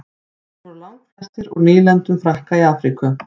þeir voru langflestir úr nýlendum frakka í afríku